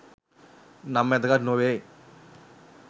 නම් වැදගත් නොවේ